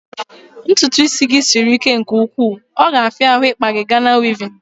Ntụtụ isi gị sịrị ike nke ụkwụ, ọ ga afia ahụ ikpa gị Gana wevin